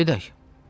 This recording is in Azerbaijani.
Gedək.